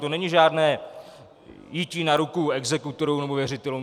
To není žádné jití na ruku exekutorům nebo věřitelům.